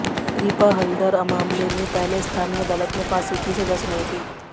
रिपा हलदर मामले में पहले स्थानीय अदालत ने फांसी की सजा सुनाई थी